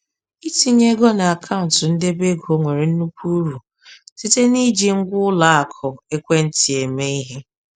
Itinye ego n’akaụntụ ndebe ego nwere nnukwu uru site n’iji ngwa ụlọ akụ ekwentị eme ihe.